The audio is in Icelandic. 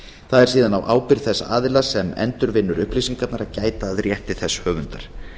það er síðan á ábyrgð þessa aðila sem endurvinnur upplýsingarnar að gæta að rétti þess höfundar